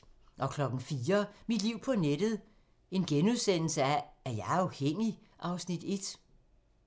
04:00: Mit liv på nettet: Er jeg afhængig? (Afs. 1)*